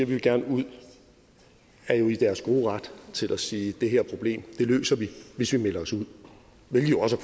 de gerne vil ud er jo i deres gode ret til at sige at det her problem løser vi hvis vi melder os ud hvilket jo også